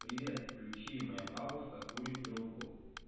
привет включи моя бабушка курит трубку